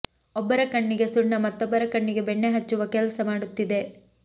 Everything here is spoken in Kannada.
ಒಬ್ಬರ ಕಣ್ಣಿಗೆ ಸುಣ್ಣ ಮತ್ತೊಬ್ಬರ ಕಣ್ಣಿಗೆ ಬೆಣ್ಣೆ ಹಚ್ಚುವ ಕೆಲಸ ಮಾಡುತ್ತಿದೆ